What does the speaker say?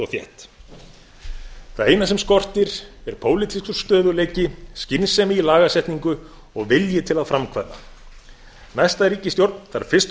og þétt það eina sem skortir er pólitískur stöðugleiki skynsemi í lagasetningu og vilji til að framkvæma næsta ríkisstjórn þarf fyrst og